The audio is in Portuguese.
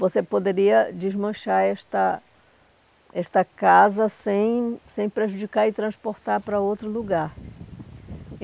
Você poderia desmanchar esta esta casa sem sem prejudicar e transportar para outro lugar.